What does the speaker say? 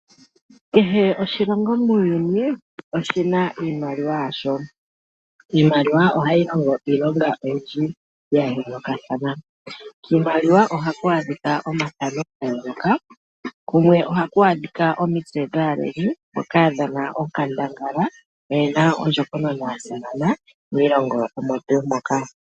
Kehe oshilongo muuyuni oshi na iimaliwa yasho. Iimaliwa ohayi longo iilonga oyindji ya yoolokathana. Kiimaliwa ohaku adhika omathano ga yooloka. Kumwe ohaku adhika omitse dhaaleli mboka ya dhana onkandangala yo oye na ondjokonona ya simana miilongo omo tuu moka.